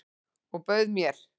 Og bauð mér.